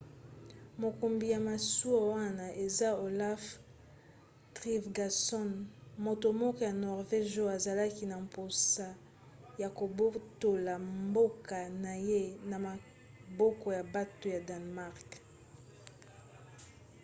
mokumbi ya masuwa wana eza olaf trygvasson moto moko ya norvége oyo azalaki na mposa ya kobotola mboka na ye na maboko ya bato ya danemark